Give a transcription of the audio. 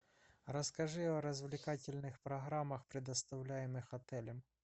расскажи о развлекательных программах предоставляемых отелем